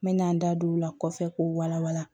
N mɛna n da don o la kɔfɛ k'o wala wala